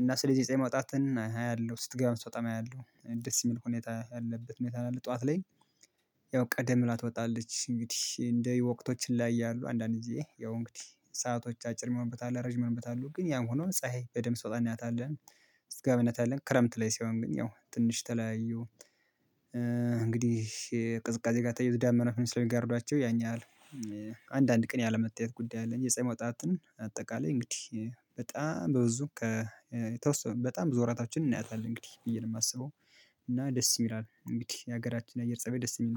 እና ስለዚህ ፀሀይ መውጣትን አያለሁ ስትገባ ስትወጣም አያለሁ ደስ የሚል ሁኔታ ያለበት ሁኔታ ነው ያለው ጠዋት ላይ ያው ቀደም ብላ ትወጣለች እንግዲህ እንደ ወቅቶችን ላይ ያያሉ አንዳንድ ጊዜ ያው እንግዲህ ሰአቶች አጭር የሚሆንበት አለ ረጅም የሚሆንበት አሉ ግን ያም ሆኖ ፀሀይ በደንብ ስትወጣ እናያታለን አለን ስትገባም እናያታለን ክረምት ላይ ሲሆን ግን ያው ትንሽ ተለያዩ እንግዲህ ቅዝቃዜ ጋር ተያይዞ ደመናም ስለሚጋርዳቸው ያን ያህል አንዳንድ ቀን ያለመታየት ጉዳይ አለ እንጅ የፀሀይ መውጣትን አጠቃላይ እንግዲህ በጣም በብዙ ከተወሰኑ በጣም ብዙ ወራታችንን እናያታለን እንግዲህ ብዬ ነው የማስበው እና ደስ ይምራል እንግዲህ የሀገራችን የአየር ፀባይ ደስ የሚል ነው።